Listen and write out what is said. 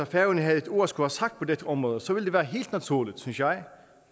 færøerne havde et ord at skulle have sagt på dette område så ville det være helt naturligt synes jeg